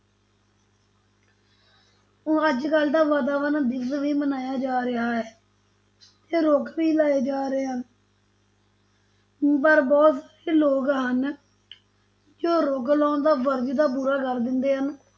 ਊਂ ਅੱਜ ਕੱਲ੍ਹ ਤਾਂ ਵਾਤਾਵਰਨ-ਦਿਵਸ ਵੀ ਮਨਾਇਆ ਜਾ ਰਿਹਾ ਹੈ ਤੇ ਰੁੱਖ ਵੀ ਲਾਏ ਜਾ ਰਹੇ ਹਨ ਪਰ ਬਹੁਤ ਸਾਰੇ ਲੋਕ ਹਨ ਜੋ ਰੁੱਖ ਲਾਉਣ ਦਾ ਫ਼ਰਜ਼ ਤਾਂ ਪੂਰਾ ਕਰ ਦਿੰਦੇ ਹਨ